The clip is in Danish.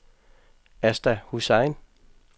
Asta Hussain